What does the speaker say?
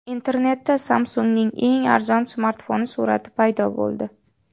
Internetda Samsung‘ning eng arzon smartfoni surati paydo bo‘ldi.